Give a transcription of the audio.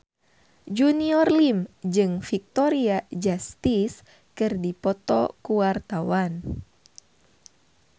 Junior Liem jeung Victoria Justice keur dipoto ku wartawan